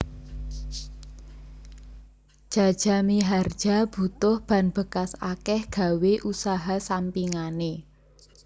Jaja Mihardja butuh ban bekas akeh gawe usaha sampingane